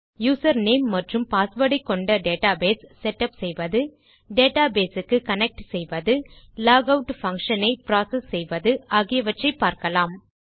user name மற்றும் password ஐக்கொண்ட database set up செய்வது டேட்டாபேஸ் க்கு கனெக்ட் செய்வது லாகவுட் பங்ஷன் ஐ புரோசெஸ் செய்வது ஆகிவற்றை பார்க்கலாம்